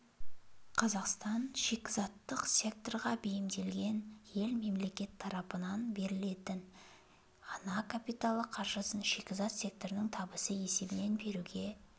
қазақстан шикізаттық секторға бейімделген ел мемлекет тарапынан берілетін ана капиталы қаржысын шикізат секторының табысы есебінен беруге